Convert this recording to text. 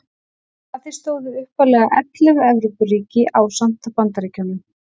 Að því stóðu upphaflega ellefu Evrópuríki ásamt Bandaríkjunum.